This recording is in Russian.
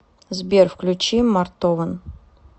сбер включи мартовэн